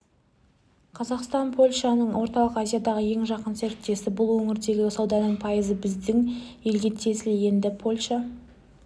қазақстан польшаның орталық азиядағы ең жақын серіктесі бұл өңірдегі сауданың пайызы біздің елге тиесілі енді польша